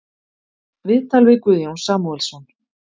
Viðtal við Guðjón Samúelsson